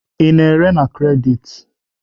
Ị na-ere na kredit?